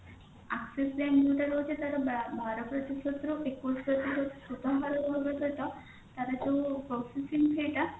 axis bank ଯୋଉଟା ରହୁଛି ତାର ବାର ପ୍ରତିଶତ ରୁ ଏକୋଇଶ ପ୍ରତିଶତ ସୁଧହାର ରହିବା ସହିତ ତାର ଯୋଉ processing fee ଟା